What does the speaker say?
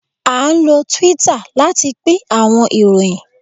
a nlo Twitter lati pin awọn iroyin